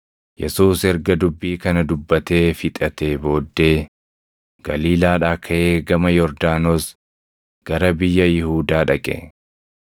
Yesuus erga dubbii kana dubbatee fixatee booddee, Galiilaadhaa kaʼee gama Yordaanos gara biyya Yihuudaa dhaqe.